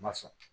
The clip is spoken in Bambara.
Ma sɔn